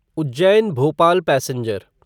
Ujjain Bhopal passenger